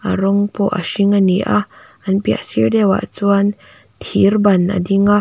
rawng pawh a hring a ni a an piah sir deuh ah chuan thirban a ding a.